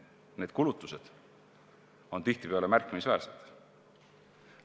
Need kulutused on tihtipeale märkimisväärsed.